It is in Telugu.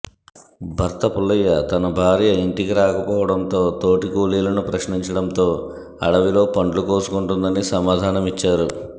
భర్త పుల్లయ్య తన భార్య ఇంటికి రాక పోవడంతో తోటి కూలీలను ప్రశ్నించడంతో అడవిలో పండ్లు కోసుకుంటోందని సమాధానమిచ్చారు